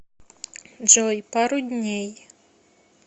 джой пару дней